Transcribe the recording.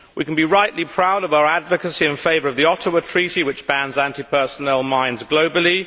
We can be rightly proud of our advocacy in favour of the Ottawa Treaty, which bans anti personnel mines globally.